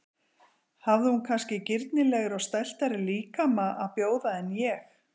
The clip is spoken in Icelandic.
Hafði hún kannski girnilegri og stæltari líkama að bjóða en ég?